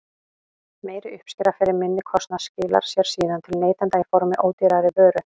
Meiri uppskera fyrir minni kostnað skilar sér síðan til neytenda í formi ódýrari vöru.